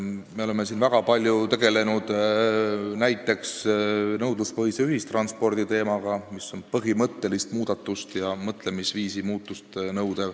Me oleme siin väga palju tegelenud näiteks nõudluspõhise ühistranspordi teemaga, mis nõuab põhimõttelist muudatust ja mõtlemisviisi muutumist.